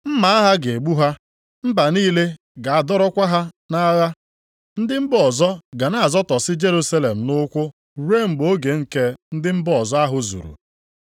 Mma agha ga-egbu ha, mba niile ga-adọrọkwa ha nʼagha. Ndị mba ọzọ ga na-azọtọsị Jerusalem nʼụkwụ ruo mgbe oge nke ndị mba ọzọ ahụ zuru.